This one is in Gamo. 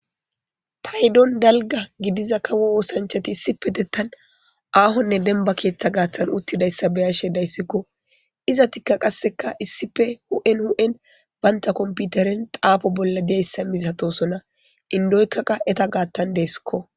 paydon dalga gidiza kawo woosanchati issipe dettan aahonne denba keeththa gaaththan uttidayssa beyashe dayssikko iza tikka qasseka issife hu7en hu7en baynta komputeren xaafo bolla diyayssa misatosona indoykkaqa eta gaathtan deeskko